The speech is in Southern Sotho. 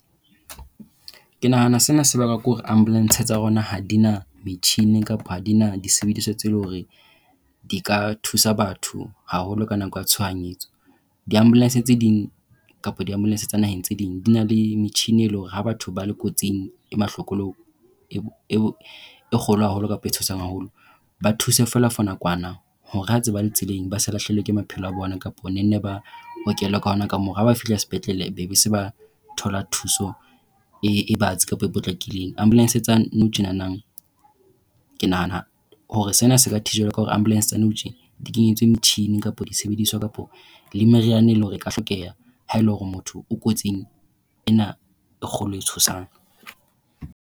Ke nahana sena se bakwa ke hore ambulance tsa rona ha di na metjhini kapa ha di na disebediswa tseo leng hore di ka thusa batho haholo ka nako ea tshohanyetso. Di-ambulance tse ding kapa di-ambulance tsa naheng tse ding di na le metjhini, eo e leng hore ha batho ba le kotsing e mahloko le ho e kgolo haholo kapa e tshosang haholo ba thuse fela for nakwana hore ha ntse ba le tseleng ba se lahlehelwe ke maphelo a bona kapa banne ba okelwe ka hona ka moo ha ba fihla sepetlele ba be se ba thola thuso e batsi kapa e potlakileng. Ambulance tsa nou tjenana ke nahana hore sena se ka tjhijwelwa ka hore ambulance tsa nou tjena di kenyetswe metjhini kapa disebediswa kapa le meriana e leng hore ka hlokeha ha e le hore motho o kotsing ena e kgolo e tshosang.